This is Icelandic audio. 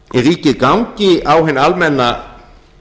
ríkið gangi á hinn almenna